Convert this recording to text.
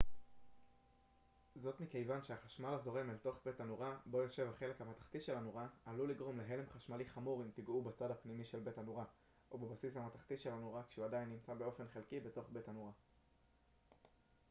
זאת מכיוון שהחשמל הזורם אל תוך בית הנורה בו יושב החלק המתכתי של הנורה עלול לגרום להלם חשמלי חמור אם תגעו בצד הפנימי של בית הנורה או בבסיס המתכתי של הנורה כשהוא עדיין נמצא באופן חלקי בתוך בית הנורה